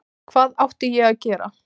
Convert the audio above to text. Hvað átti ég að gera?